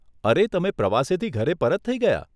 અરે, તમે પ્રવાસેથી ઘરે પરત થઇ ગયા?